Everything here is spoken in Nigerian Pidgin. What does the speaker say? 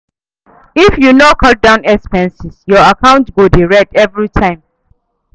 If you no cut down expenses, your account go dey red every time.